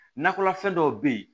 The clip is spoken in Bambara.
Nakɔlafɛn dɔw be yen